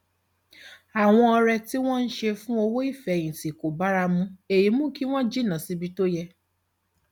àwọn ọrẹ tí wọn ń ṣe fún owó ìfẹyìntì kò bára mu èyí mú kí wọn jìnnà síbi tó yẹ